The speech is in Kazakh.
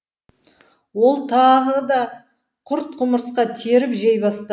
ол тағы да құрт құмырсқа теріп жей бастады